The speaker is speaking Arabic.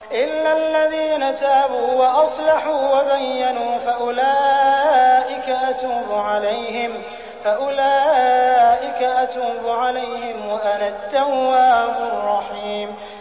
إِلَّا الَّذِينَ تَابُوا وَأَصْلَحُوا وَبَيَّنُوا فَأُولَٰئِكَ أَتُوبُ عَلَيْهِمْ ۚ وَأَنَا التَّوَّابُ الرَّحِيمُ